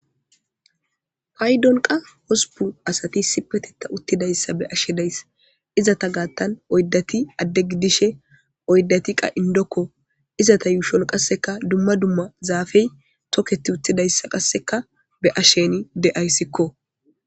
Paydonqa hosupu asati sipeteta uttidayssa be ashe days izata gaattan oydati adde gidishe oydati qa indokko izata yuushol qasseka dumma dumma zaafey toketi uttidayssa qasseka be ashsheni de'ayssikko.